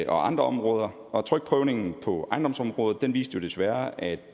og andre områder og trykprøvningen på ejendomsområdet viste desværre at